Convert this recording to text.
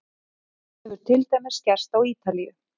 Þetta hefur til dæmis gerst á Ítalíu.